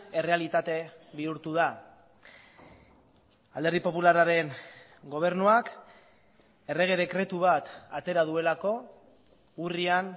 errealitate bihurtu da alderdi popularraren gobernuak errege dekretu bat atera duelako urrian